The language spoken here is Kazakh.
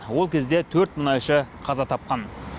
ол кезде төрт мұнайшы қаза тапқан